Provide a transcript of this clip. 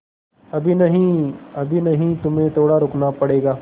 अभी नहीं अभी नहीं तुम्हें थोड़ा रुकना पड़ेगा